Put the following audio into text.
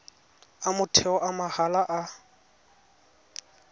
a motheo a mahala a